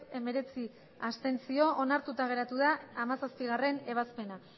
hemeretzi abstentzio onartuta geratu da hamazazpigarrena ebazpena